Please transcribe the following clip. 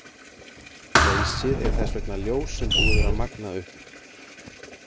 Leysir er þess vegna ljós sem búið er að magna upp.